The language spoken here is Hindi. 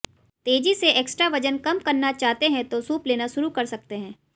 तेजी से एक्स्ट्रा वजन कम करना चाहते है तो सूप लेना शुरू कर सकते है